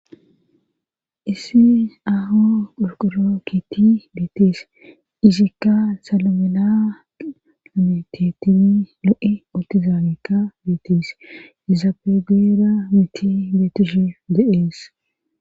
issi aho qulquro kiitti beetees izikka salamela ametetini lo7e oltizaamekka beetees izapegera miti beetishi deees